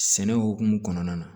Sɛnɛ hukumu kɔnɔna na